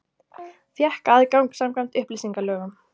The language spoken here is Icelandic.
Fékk aðgang samkvæmt upplýsingalögum